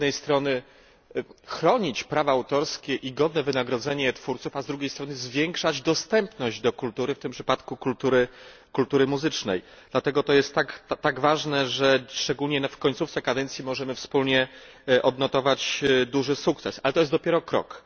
Z jednej strony chronić prawa autorskie i godne wynagrodzenie twórców, a z drugiej strony zwiększać dostępność do kultury, w tym przypadku kultury muzycznej. Dlatego jest to tak ważne, że szczególnie w końcówce kadencji możemy wspólnie odnotować duży sukces. Ale to dopiero krok.